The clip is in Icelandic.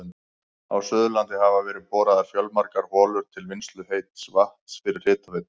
Á Suðurlandi hafa verið boraðar fjölmargar holur til vinnslu heits vatns fyrir hitaveitur.